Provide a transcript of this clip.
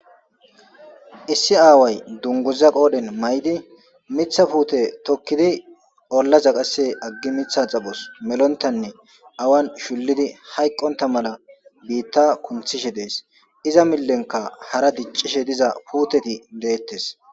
Issi aaway dunguza qoodhen may'di mitha puute tokkidi olla zaqase aggi mitha xaphos melontanne awan shullidi hayqqonta mala biitta kunthishe dees iza millenka hara diccishe diza puuteti deettes.